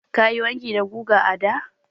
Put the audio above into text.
Ka yi wanki da guga a da?